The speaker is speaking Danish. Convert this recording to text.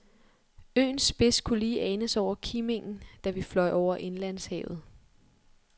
Øens spids kunne lige anes over kimingen, da vi fløj over indlandshavet.